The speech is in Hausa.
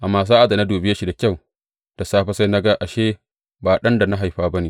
Amma sa’ad da na dube shi da kyau da safe, sai na ga ashe ba ɗan da na haifa ba ne.